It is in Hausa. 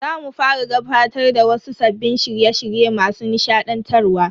Za mu fara gabatar da wasu sabbin shirye shirye masu nishadantarwa.